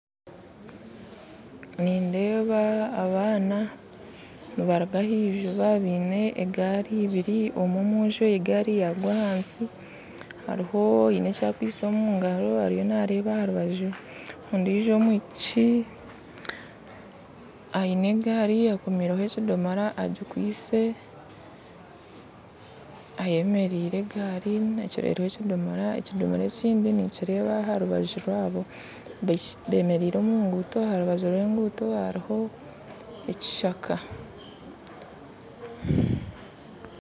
Nindeeba abaana nibaruga ahiziba baine egaari ibiri, omwe omwojo egaari yagwa ahansi hariho oine ekyakwitse omungaro ariyio nareeba aharubaju ondiijo omwishiki aine egaari akomireho ekidomora agikwitse ayemereire egaari ekiriho ekidomora, ekidomora ekindi ninkireeba aha aharubaju rwabo bemereire omu nguuto aharubaju rw'enguuto hariho ekishaka .